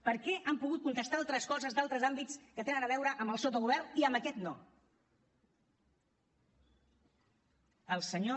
per què han pogut contestar altres coses d’altres àmbits que tenen a veure amb el sotogovern i amb aquest no el senyor